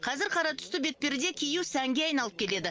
қазір қара түсті бетперде кию сәнге айналып келеді